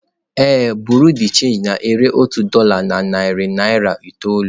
Ee, bureau de change na-ere otu dolá na narị naira itoolu.